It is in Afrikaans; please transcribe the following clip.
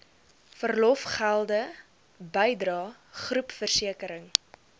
verlofgelde bydrae groepversekering